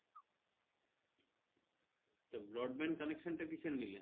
তা broadband connection টা কিসের নিলে